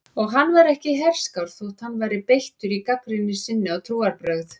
Og hann var ekki herskár þótt hann væri beittur í gagnrýni sinni á trúarbrögð.